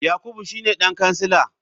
Yakubu shine dan kansila.